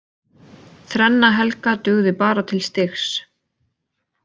Þrenna Helga dugði bara til stigs